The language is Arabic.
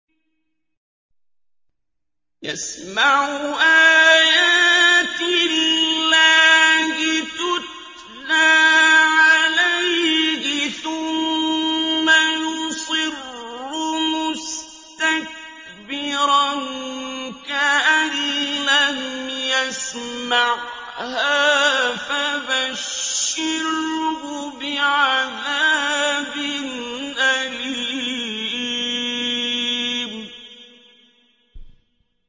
يَسْمَعُ آيَاتِ اللَّهِ تُتْلَىٰ عَلَيْهِ ثُمَّ يُصِرُّ مُسْتَكْبِرًا كَأَن لَّمْ يَسْمَعْهَا ۖ فَبَشِّرْهُ بِعَذَابٍ أَلِيمٍ